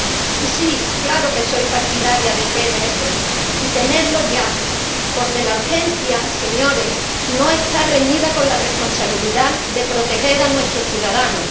Y sí, claro que soy partidaria del PNR, y de tenerlo ya, porque la urgencia, señores, no está reñida con la responsabilidad de proteger a nuestros ciudadanos.